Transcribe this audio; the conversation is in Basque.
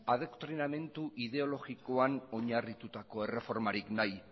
adoktrinamentu ideologikoan oinarritutako erreformarik nahi